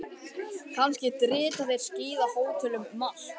Kannski drita þeir skíðahótelum um allt.